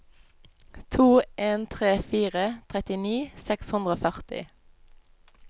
to en tre fire trettini seks hundre og førti